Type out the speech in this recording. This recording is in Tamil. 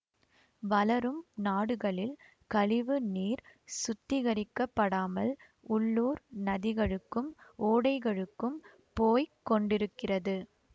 வளரும் நாடுகளில் கழிவு நீர் சுத்திகரிக்கப்படாமல் உள்ளூர் நதிகளுக்கும் ஓடைகளுக்கும் போய் கொண்டிருக்கிறது